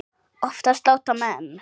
Oftast láta menn